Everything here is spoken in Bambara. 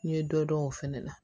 N ye dɔ dɔn o fɛnɛ na